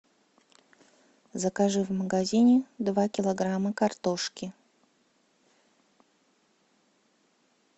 закажи в магазине два килограмма картошки